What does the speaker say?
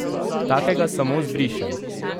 Takega samo zbrišem!